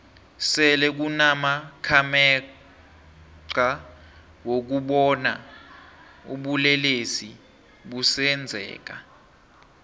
sele kunama khamexa wokubona ubulelesi busenzeka